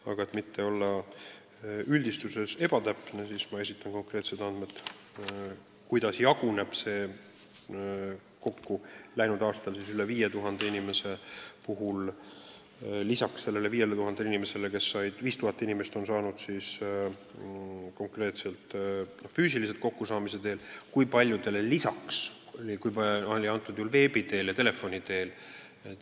Aga et mitte olla üldistuses ebatäpne, esitan ma konkreetsed andmed, kuidas anti läinud aastal õigusnõu rohkem kui 5000 inimesele: kes on saanud abi nõuandjaga füüsiliselt kokku saades ja kui paljudele anti abi veebi teel ja telefoni teel.